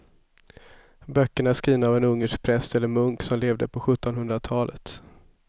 Böckerna är skrivna av en ungersk präst eller munk som levde på sjuttonhundratalet.